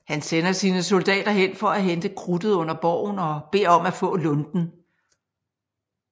Han sender sine soldater hen for at hente krudtet under borgen og beder om at få lunten